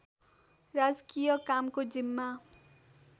राजकीय कामको जिम्मा